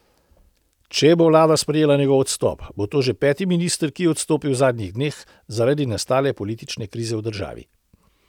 Če bo vlada sprejela njegov odstop, bo to že peti minister, ki je odstopil v zadnjih dneh, zaradi nastale politične krize v državi.